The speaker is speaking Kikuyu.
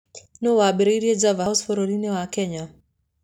Nũũ waambĩrĩirie Java House bũrũri-inĩ wa Kenya?